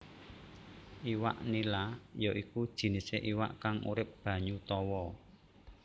Iwak nila ya iku jinisé iwak kang urip banyu tawa